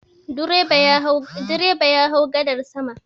Direba ya hau gadar sama.